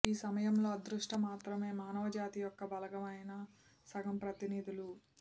ఈ సమయంలో అదృష్ట మాత్రమే మానవజాతి యొక్క బలమైన సగం ప్రతినిధులు